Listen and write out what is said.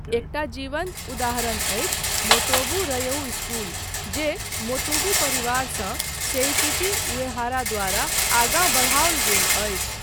एकटा जीवन्त उदाहरण अछि मोटोबू रयऊ इस्कूल जे मोतुबू परिवारसँ सेइकिची उएहारा द्वारा आगाँ बढ़ाओल गेल अछि।